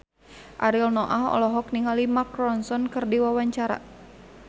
Ariel Noah olohok ningali Mark Ronson keur diwawancara